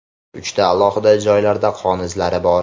Uchta alohida joylarda qon izlari bor.